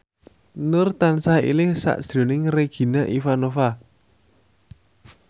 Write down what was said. Nur tansah eling sakjroning Regina Ivanova